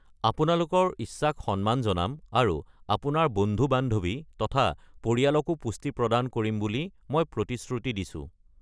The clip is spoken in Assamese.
আপোনালোকৰ ইচ্ছাক সন্মান জনাম আৰু আপোনাৰ বন্ধু-বান্ধৱী তথা পৰিয়ালকো পুষ্টি প্ৰদান কৰিম বুলি মই প্ৰতিশ্ৰুতি দিছো।